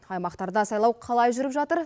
аймақтарда сайлау қалай жүріп жатыр